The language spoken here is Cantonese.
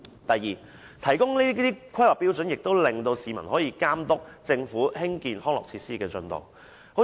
第二，提供《規劃標準》可以讓市民監督政府興建康樂設施的進度。